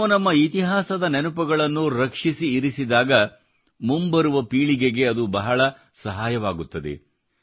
ನಾವು ನಮ್ಮ ಇತಿಹಾಸದ ನೆನಪುಗಳನ್ನು ರಕ್ಷಿಸಿ ಇರಿಸಿದಾಗ ಮುಂಬರುವ ಪೀಳಿಗೆಗೆ ಅದು ಬಹಳ ಸಹಾಯವಾಗುತ್ತದೆ